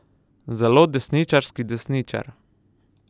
Zelo desničarski desničar.